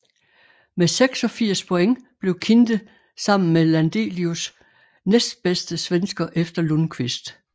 Med 86 point blev Kinde sammen med Landelius næstbedste svensker efter Lundquist